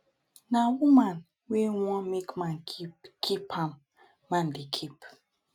na woman wey wan make man keep keep am man dey keep.